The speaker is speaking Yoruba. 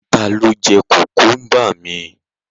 Ta ló jẹ́ kùkúmbà mi?